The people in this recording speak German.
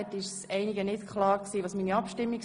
Sie müssen eine Niederlassungsbewilligung besitzen.